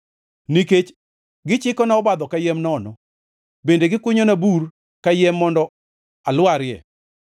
Nikech gichikona obadhogi kayiem nono kendo gikunyona bur kayiem mondo alwarie;